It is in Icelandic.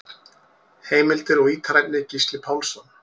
Heimildir og ítarefni: Gísli Pálsson.